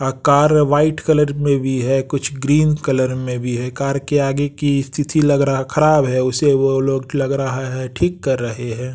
अ car white colour में भी है कुछ ग्रीन कलर में भी है कार के आगे की स्तिथि लग रहा खराब है उसे वो लोग लग रहा है ठीक कर रहे हैं।